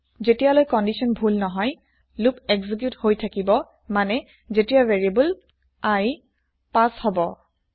যেতিয়ালৈ কন্দিচ্যন ভূল নহয় লোপ এক্জিক্যুত হয় থাকিব মানে যেতিয়া ভেৰিয়াবল i ৫ হব